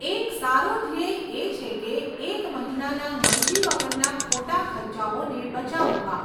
એક સારો ધ્યેય એ છે કે એક મહિનાના મરજી વગરના ખોટા ખર્ચાઓને બચાવવા.